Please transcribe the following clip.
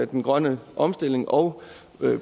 den grønne omstilling og